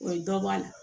O ye dɔ bɔ a la